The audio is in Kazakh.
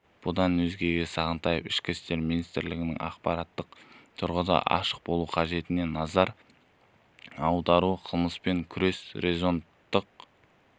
бұдан өзге сағынтаев ішкі істер министрлігінің ақпараттық тұрғыдан ашық болуы қажеттігіне назар аударды қылмыспен күрес резонанстық